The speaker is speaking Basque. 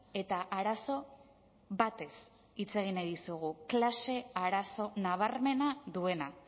eta arazo batez hitz egin nahi dizugu klase arazo nabarmena duena